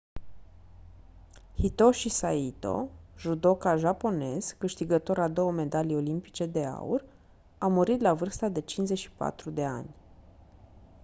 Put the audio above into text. hitoshi saito judoka japonez câștigător a două medalii olimpice de aur a murit la vârsta de 54 de ani